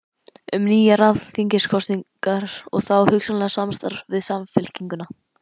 Um nýjar alþingiskosningar og þá hugsanlega samstarf við Samfylkinguna?